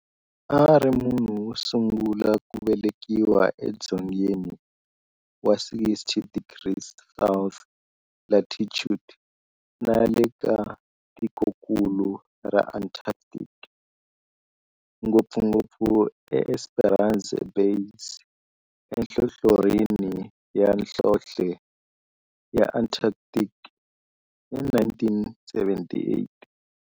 A ri munhu wosungula ku velekiwa edzongeni wa 60 degrees south latitude nale ka tikonkulu ra Antarctic, ngopfungopfu eEsperanza Base enhlohlorhini ya nhlonhle ya Antarctic hi 1978.